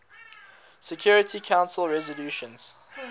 security council resolutions